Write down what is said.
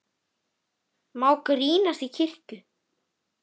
Má grínast í kirkju?